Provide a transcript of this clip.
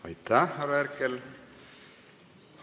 Aitäh, härra Herkel!